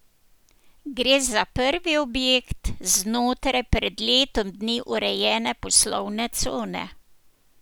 Gre za prvi objekt znotraj pred letom dni urejene poslovne cone.